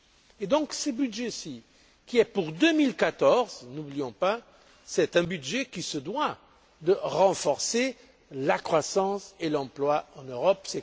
Et donc, ce budget ci, qui est pour 2014, ne l'oublions pas, c'est un budget qui se doit de renforcer la croissance et l'emploi en Europe